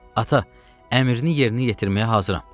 Ata, əmrini yerinə yetirməyə hazıram.